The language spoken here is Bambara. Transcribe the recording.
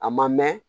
A ma mɛn